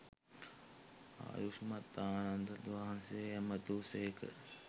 ආයුෂ්මත් ආනන්දයන් වහන්සේ ඇමතූ සේක.